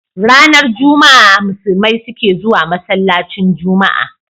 Ranar juma a musulmai sukezuwa masalacin juma a